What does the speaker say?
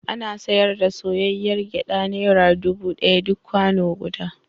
Ana sayar da soyayyr gyaɗa naira dubu ɗaya duk kwano guda.